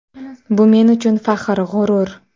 Bu men uchun faxr, g‘urur.